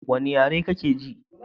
wani yare yake ji?